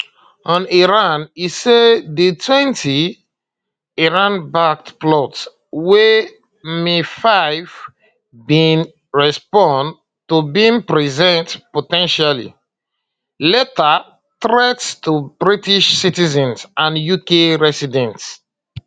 on iran e say di [um]twentyiranbacked plots wey mi5 bin respond to bin present po ten tially um lethal threats to british citizens and uk residents